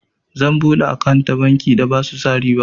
Zan buɗe akant da banki da basu sa riba.